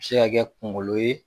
Se ka kɛ kuŋolo ye